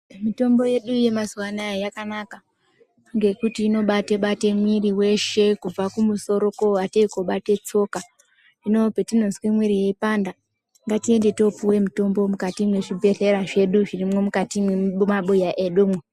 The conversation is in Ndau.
Mitombo yedu yemazuwa anaya yakanaka ngekuti inobate-bate mwiri weshe kubva kumusoro kuatei kobate tsoka, hino petinozwe mwiri yeipanda ngatiende topuwe mutombo mukati mwezvibhehlera zvedu zviri mukati mwemabuya mwedumwo.